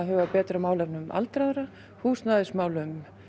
huga betur að málefnum aldraðra húsnæðismálum